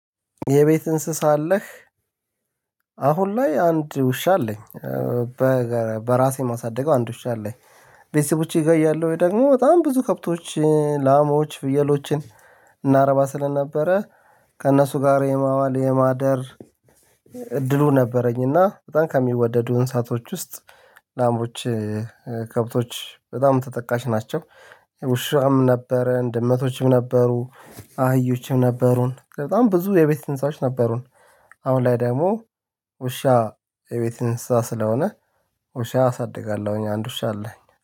የቤት እንስሳ አለህ? አሁን ላይ አንድ ውሻ አለኝ። በራሴ የማሳደገው አንድ ሺህ አለኝ። ቤተሰቦቼ ጋር እያለሁኝ ወይ ደግሞ በጣም ብዙ ከብቶች ላሞዎች ፍየሎችን እናረባ ስለነበረ ከእነሱ ጋር የማዋል የማደር እድሉ ነበረኝ እና በጣም ከሚወደዱ እንሳቶች ውስጥ ላምቦች ከብቶች በጣም ተጠቃሽ ናቸው። ውሻም ነበረን ድመቶችም ነበሩ አህዮችም ነበሩን፣ በጣም ብዙ የቤት ትንሳሽ ነበሩን። አሁን ላይ ደግሞ ውሻ የቤት እንስሳ ስለሆነ ውሻ አሳድጋለሁኝ አንድ ውሻ አለኝ።